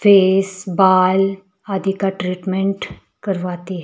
Face बाल आदि का ट्रीटमेंट करवाती है।